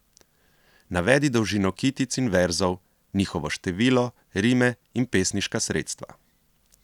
Navedi dolžino kitic in verzov, njihovo število, rime in pesniška sredstva.